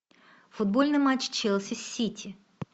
футбольный матч челси с сити